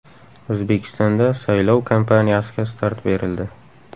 O‘zbekistonda saylov kampaniyasiga start berildi.